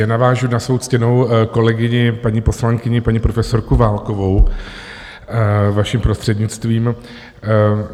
Jen navážu na svou ctěnou kolegyni, paní poslankyni, paní profesorku Válkovou, vaším prostřednictvím.